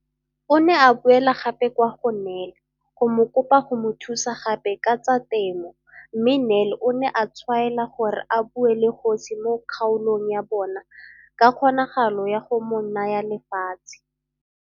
O ne a boela gape kwa go Nel go mo kopa go mo thusa gape ka tsa temo mme Nel o ne a tshwaela gore a bue le kgosi mo kgaolong ya bona ka kgonagalo ya go mo naya lefatshe.